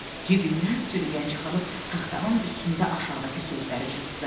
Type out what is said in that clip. Cibindən sürgən çıxarıb taxtanın üstündə aşağıdakı sözləri cızdı.